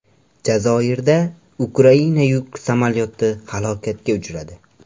Jazoirda Ukraina yuk samolyoti halokatga uchradi.